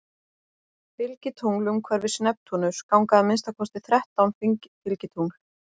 Fylgitungl Umhverfis Neptúnus ganga að minnsta kosti þrettán fylgitungl.